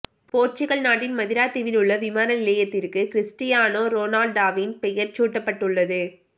போர்சுகல் நாட்டின் மதிரா தீவில் உள்ள விமான நிலையத்திற்கு கிறிஸ்டியானோ ரோனால்டாவின் பெயர் சூட்டப்பட்டுள்ளது